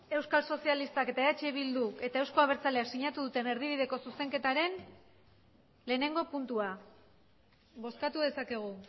euskal sozialistak eta eh bildu eta euzko abertzaleak sinatu duten erdibideko zuzenketaren lehenengo puntua bozkatu dezakegu